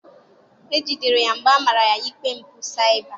e jidere ya mgbe a mara ya ikpe mpụ cyber.